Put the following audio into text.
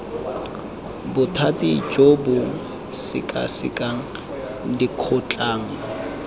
bothati jo bo sekasekang dikgotlang